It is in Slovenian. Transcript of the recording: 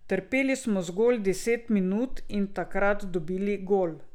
Trpeli smo zgolj deset minut in takrat dobili gol.